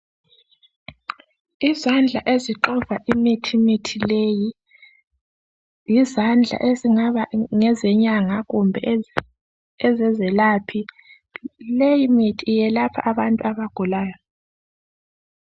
Izandla ezixova imithimithi leyi yizandla ezingaba ngezenyanga kumbe ezezelaphi leyimithi yelapha abantu abagulayo.